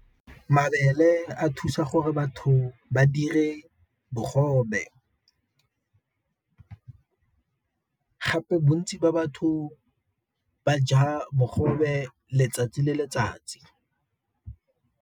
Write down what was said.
Mabele a thusa gore batho ba dire bogobe, gape bontsi ba batho ba ja bogobe letsatsi le letsatsi.